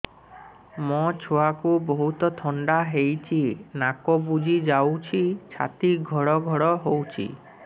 ମୋ ଛୁଆକୁ ବହୁତ ଥଣ୍ଡା ହେଇଚି ନାକ ବୁଜି ଯାଉଛି ଛାତି ଘଡ ଘଡ ହଉଚି